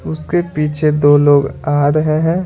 उसके पीछे दो लोग आ रहे हैं।